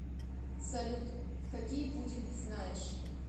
салют какие пудель ты знаешь